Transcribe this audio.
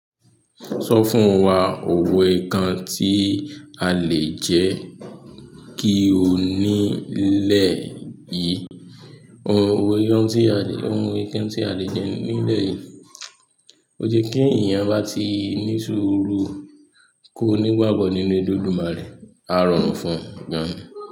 Sọ fún wa òwe kan tí a lẹ́ jẹ́ kí o nílẹ̀ yìí. Òwe kan tí a lè jẹ nílẹ̀ yìí. Ó jẹ́ kí èèyàn bá ti ní ṣúùrù. Kò ní ìwà but nínú Elédùmarè. A rọrùn fún gan.